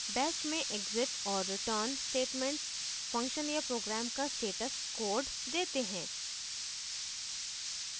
bash में exit और return statements function या program का status code देते हैं